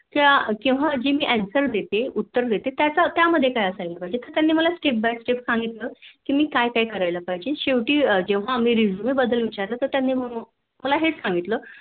त्या केव्हा मी जेव्हा Answer देते उत्तर देते त्या मध्ये काय काय असायला पाहिजे. तर त्यांनी मला Step by step सांगितलं कि मी काय काय करायला पाहिजे. शेवटी आम्ही resume बद्दल विचारलं तर त्यांनी म्हण